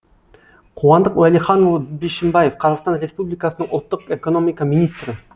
қуандық уәлиханұлы бишімбаев қазақстан республикасының ұлттық экономика министрі